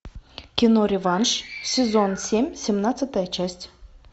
кино реванш сезон семь семнадцатая часть